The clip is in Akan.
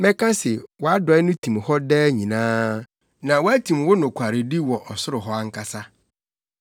Mɛka se wʼadɔe no tim hɔ daa nyinaa, na woatim wo nokwaredi wɔ ɔsoro hɔ ankasa.